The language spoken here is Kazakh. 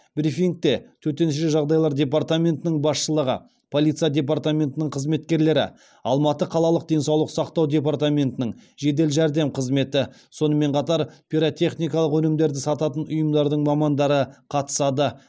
брифингте төтенше жағдайлар департаментінің басшылығы полиция департаментінің қызметкерлері алматы қалалық денсаулық сақтау департаментінің жедел жәрдем қызметі сонымен қатар пиротехникалық өнімдерді сататын ұйымдардың мамандары қатысады